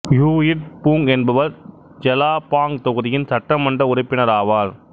he Itt Foong என்பவர் Jelapang தொகுதியின் சட்டமன்ற உறுப்பினர் ஆவார்